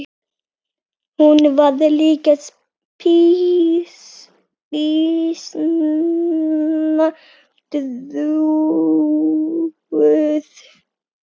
Hún var líka býsna trúuð.